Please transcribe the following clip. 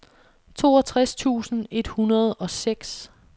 toogtres tusind et hundrede og seks